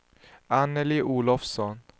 Anneli Olofsson